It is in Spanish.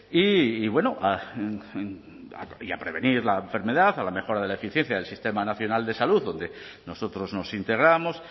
y bueno y a prevenir la enfermedad a la mejora de la eficiencia del sistema nacional de salud donde nosotros nos integramos